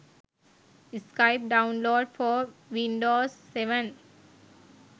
skype download for windows 7